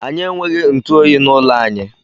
Anyị enweghị ntụ oyi n'ụlọ anyị.